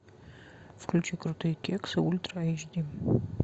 включи крутые кексы ультра эйч ди